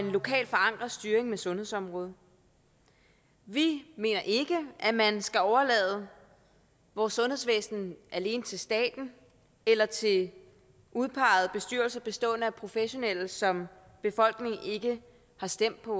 lokalt forankret styring af sundhedsområdet vi mener ikke at man skal overlade vores sundhedsvæsen alene til staten eller til udpegede bestyrelser bestående af professionelle som befolkningen ikke har stemt på